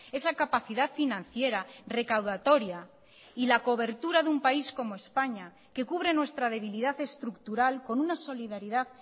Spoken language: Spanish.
esa capacidad financiera recaudatoria y la cobertura de un país como españa que cubre nuestra debilidad estructural con una solidaridad